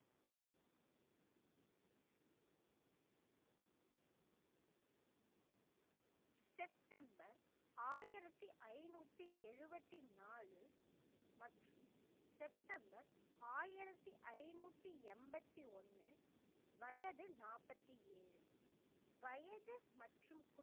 September ஆயிரத்தி ஐந்நூத்தி எழுபத்தி நாலு மற்றும் செப்டம்பர் ஆயிரத்தி ஐந்நூத்தி எண்பத்தி ஒண்ணு வயது நாற்பத்தி ஏழு வயது மற்றும்